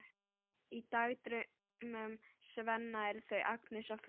Í dagdraumum Svenna eru þau Agnes á föstu.